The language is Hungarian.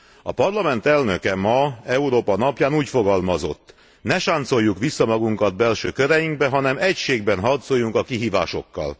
A Parlament elnöke ma, Európa napján úgy fogalmazott Ne sáncoljuk vissza magunkat belső köreinkbe, hanem egységben harcoljunk a kihívásokkal.